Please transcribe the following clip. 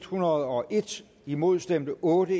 hundrede og en imod stemte otte